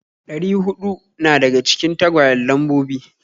Ɗari huɗu na daga cikin tagwayen Lambobi.